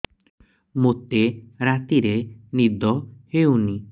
ମୋତେ ରାତିରେ ନିଦ ହେଉନି